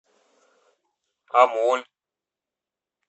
амоль